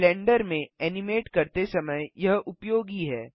blender में animate करते समय यह उपयोगी है